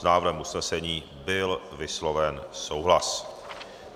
S návrhem usnesení byl vysloven souhlas.